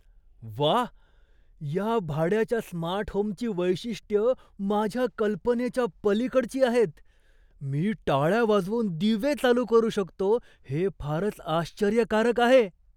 व्वा, या भाड्याच्या स्मार्ट होमची वैशिष्ट्यं माझ्या कल्पनेच्या पलीकडची आहेत. मी टाळ्या वाजवून दिवे चालू करू शकतो हे फारच आश्चर्यकारक आहे!